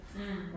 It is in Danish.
Mh